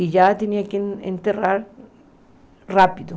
E já tinha que enterrar rápido.